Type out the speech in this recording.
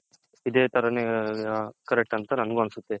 ಇದೆ ತರನೇ correct ಅಂತ ನನಗೂ ಅನ್ಸುತ್ತೆ.